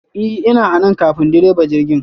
I ,ina anan ƙafin ɗireba jirgi!